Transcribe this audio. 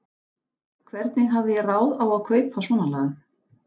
Hvernig hafði ég ráð á að kaupa svonalagað?